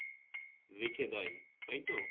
রেখে দেয় তাইতো ,